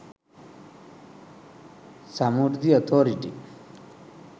samurdhi authority